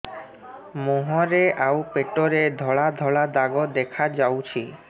ମୁହଁରେ ଆଉ ପେଟରେ ଧଳା ଧଳା ଦାଗ ଦେଖାଯାଉଛି